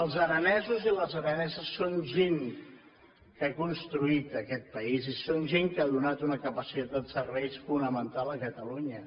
els aranesos i les araneses són gent que ha construït aquest país i són gent que ha donat una capacitat de serveis fonamental a catalunya